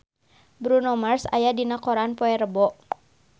Bruno Mars aya dina koran poe Rebo